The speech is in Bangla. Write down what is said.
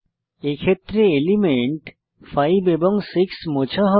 এক্ষেত্রে এলিমেন্ট 5 এবং 6 মোছা হবে